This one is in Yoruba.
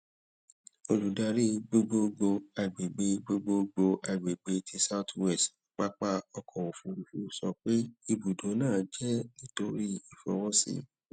oludari gbogbogbo agbegbe gbogbogbo agbegbe ti south west papa ọkọ ofurufu sọ pe ibudo naa jẹ nitori ifọwọsi